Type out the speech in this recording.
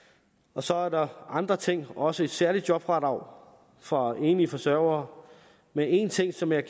og så er der andre ting der også et særligt jobfradrag for enlige forsørgere men én ting som jeg